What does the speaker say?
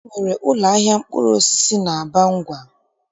E nwere ụlọahịa mkpụrụosisi n'Abangwa